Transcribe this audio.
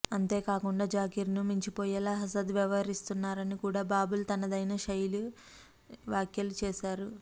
అంతేకాకుండా జకీర్ ను మించిపోయేలా అసద్ వ్యవహరిస్తున్నారని కూడా బాబుల్ తనదైన శైలి వ్యాఖ్యలు చేశారు